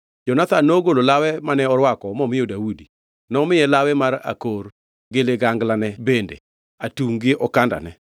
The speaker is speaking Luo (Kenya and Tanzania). Jonathan nogolo lawe mane orwako momiyo Daudi, nomiye lawe mar akor, gi liganglane bende, atungʼ gi okandane.